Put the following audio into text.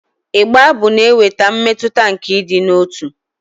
Ịgba abụ na-eweta mmetụta nke ịdị n'otu.